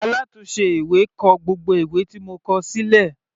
Alátùnse ìwé kọ gbogbo ìwé tí mo kọ sílẹ̀.